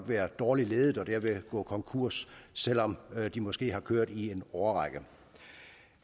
være dårligt ledet og derved gå konkurs selv om de måske har kørt i en årrække